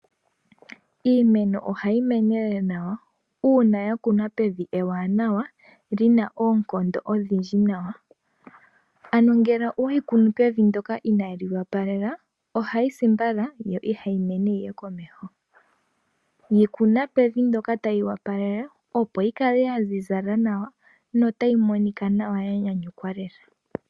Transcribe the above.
Iimeno ohayi mene nawa uuna ya kunwa pevi ewanawa li na oonkondo odhindji nawa. Ano ngele oweyi kunu pevi ndoka inaye li wapalela ohayi si mbala, yo ihayi mene yi ye komeho. Yi kuna pevi ndoka tali wapalele opo yi kale ya ziza nawa, no tayi monika nawa ya nyanyukwa lela.